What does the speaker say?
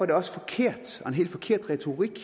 det også forkert og en helt forkert retorik